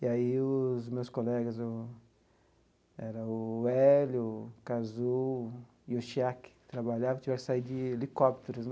E aí os meus colegas, o era o Hélio, o Cazu e o Chiaki, que trabalhavam, tiveram que sair de helicópteros.